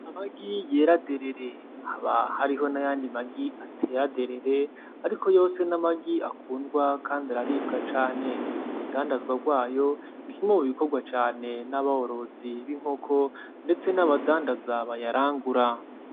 Amagi yera derere, haba hariho nayandi magi atera derere ariko yose ni amagi akundwa kandi araribwa cane, urudandazwa rwayo ni kimwe mu bikorwa cane n'aborozi b'inkoko ndetse n'abadanzaza bayarangura.